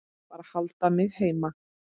Bara haldið mig heima!